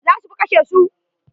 Za su fa kashe su.